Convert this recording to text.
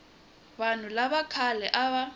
vanhu lava khale a va